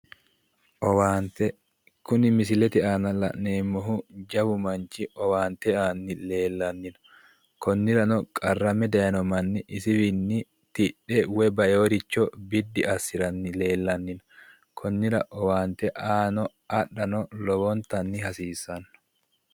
Owaante, kuni misilete aana la'neemmohu jawu manchi owaante aanni leellanni no konnirano qarrame daayiino manni isiwiinni tidhe woyi taewooricho biddi assiranno ragi leellanni no. konnira owaante aano adhano lowontanni hasiissanno.